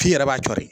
F'i yɛrɛ b'a co de